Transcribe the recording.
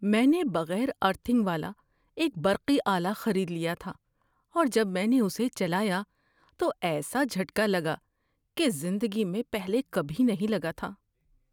میں نے بغیر ارتھنگ والا ایک برقی آلہ خرید لیا تھا اور جب میں نے اسے چلایا تو ایسا جھٹکا لگا کہ زندگی میں پہلے کبھی نہیں لگا تھا۔